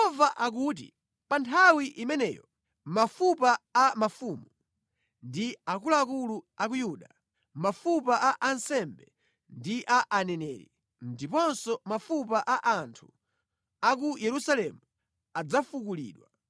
Yehova akuti, “ ‘Pa nthawi imeneyo, mafupa a mafumu ndi a akuluakulu a ku Yuda, mafupa a ansembe ndi a aneneri, ndiponso mafupa a anthu a ku Yerusalemu adzafukulidwa.